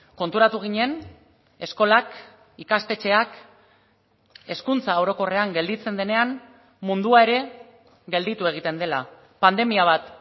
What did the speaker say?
konturatu ginen eskolak ikastetxeak hezkuntza orokorrean gelditzen denean mundua ere gelditu egiten dela pandemia bat